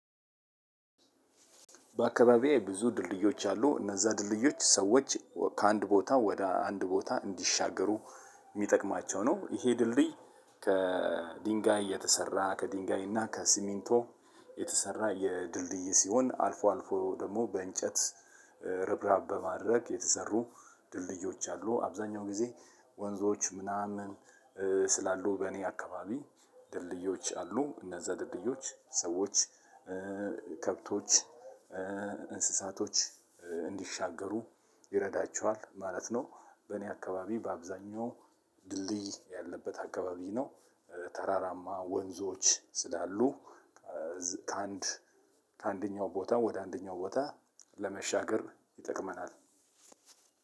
በአካባቢየ ብዙ ድልድዮች አሉ እነዛ ድልድዮች ሰዎች ከአንድ ቦታ ወደ አንድ ቦታ እንዲሻገሩ ሚጠቅማቸው ነው። ይሄ ድልድይ ከድንጋይ የተሰራ ከድንጋይ እና ከሲሚንቶ። የተሰራ የድልድይ ሲሆን አልፎ አልፎ ደግሞ በእንጨት ርብራብ በማድረግ የተሰሩ ድልድዮች አሉ። አብዛኛው ጊዜ ወንዞች ምናምን ስላሉ በእኔ አካባቢ ድልድዮች አሉ። እነዛ ድልድዮች ሰዎች ከብቶች እንስሳቶች እንዲሻገሩ ይረዳቸዋል ማለት ነው። በእኔ አካባቢ በአብዛኛው ድልድይ ያለበት አካባቢ ነው። ተራራማ ወንዞች ስላሉ ከአንድ ከአንደኛው ቦታ ወደ አንደኛው ቦታ ለመሻገር ይጠቅመናል።